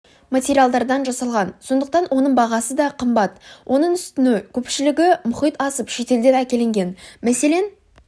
материалдардан жасалған сондықтан оның бағасы да қымбат оның үстіне көпшілігі мұхит асып шетелден әкелінген мәселен